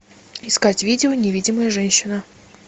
искать видео невидимая женщина